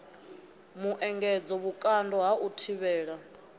muengedzo vhukando ha u thivhela